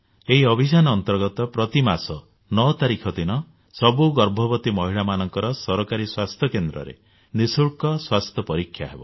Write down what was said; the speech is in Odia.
ଏହି ଅଭିଯାନ ଅନ୍ତର୍ଗତ ପ୍ରତିମାସ 9 ତାରିଖ ଦିନ ସବୁ ଗର୍ଭବତୀ ମହିଳାମାନଙ୍କର ସରକାରୀ ସ୍ୱାସ୍ଥ୍ୟକେନ୍ଦ୍ରରେ ନିଃଶୁଳ୍କ ସ୍ୱାସ୍ଥ୍ୟ ପରୀକ୍ଷା ହେବ